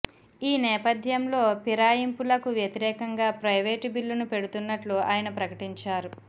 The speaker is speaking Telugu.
ఈ నేపద్యంలో పిరాయింపులకు వ్యతిరేకంగా ప్రైవేటు బిల్లును పెడుతున్నట్లు ఆయన ప్రకటించారు